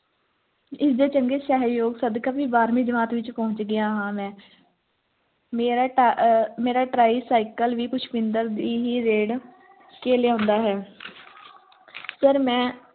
ਇਸ ਦੀ ਚੰਗੇ ਸਹਿਯੋਗ ਸਦਕਾ ਵੀ ਬਾਰਵੀ ਜਮਾਤ ਵਿਚ ਪੋਉਂਚ ਗਿਆ ਹਾਂ ਮੇਰਾ ਅਹ tricycle ਵੀ ਪੁਸ਼ਪਿੰਦਰ ਦੀ ਹੀ ਦੇਣ ਕੇ ਲਿਆਂਦਾ ਹੈ sir ਮੈਂ